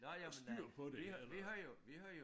Styr på det eller